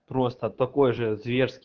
просто такой же зверски